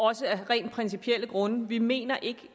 også af rent principielle grunde vi mener ikke